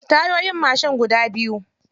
Tayoyin mashin guda biyu.